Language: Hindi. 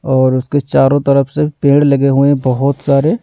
और उसके चारों तरफ से पेड़ लगे हुए हैं बहुत सारे --